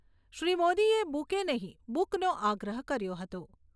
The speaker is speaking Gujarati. શ્રી મોદીએ બુકે નહીંં બુકનો આગ્રહ કર્યો હતો.